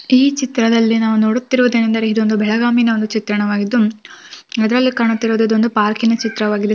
ಈ ಚಿತ್ರದಲ್ಲಿ ನಾವು ನೋಡುತ್ತಿರುವುದು ಏನೆಂದರೆ ಇದೊಂದು ಬೆಳಗಾಂ ನ ಚಿತ್ರವಾಗಿದ್ದು ಇದರಲ್ಲಿ ಕಾಣುತ್ತಿರುವುದು ಒಂದು ಪಾರ್ಕಿನ ಚಿತ್ರವಾಗಿದೆ.